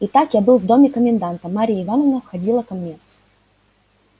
итак я был в доме коменданта марья ивановна входила ко мне